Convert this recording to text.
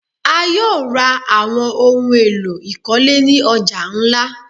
A yóò ra awọn ohun elọ̀ ikolé ni ọja nlá